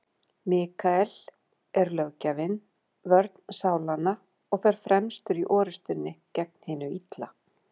Mikael er löggjafinn, vörn sálanna, og fer fremstur í orrustunni gegn hinu illa.